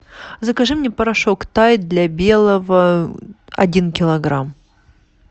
закажи мне порошок тайд для белого один килограмм